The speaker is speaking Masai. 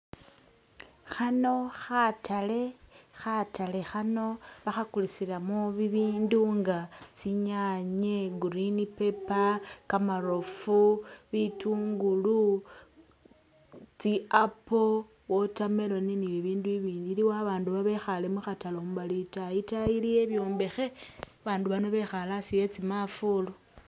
Khano khatale khatale khano bakhakulisilamo bibindu nga tsinyanye, green paper, kamarofu, bitungulu, tsi'apple, watermelon ni'bibindu i'bindi iliwo abandu babekhale mukhatale mu bali itaayi, itaayi iliyo ibyombekhe abandu bano bekhale asi e'tsimafulu